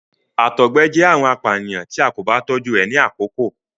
àtọgbẹ jẹ àrùn apànìyàn tí a kò bá tójú rẹ ni àkọkọ